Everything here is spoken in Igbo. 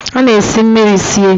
A na-esi mmiri sie